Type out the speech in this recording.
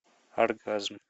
оргазм